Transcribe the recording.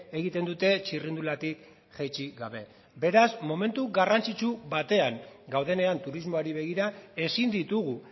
egiten dute txirrindulatik jaitsi gabe beraz momentu garrantzitsu batean gaudenean turismoari begira ezin ditugu